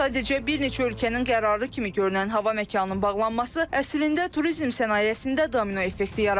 Sadəcə bir neçə ölkənin qərarı kimi görünən hava məkanının bağlanması, əslində turizm sənayesində domino effekti yaratdı.